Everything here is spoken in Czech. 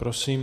Prosím.